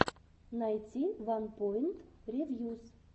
найти ванпоинт ревьюс